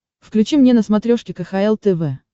включи мне на смотрешке кхл тв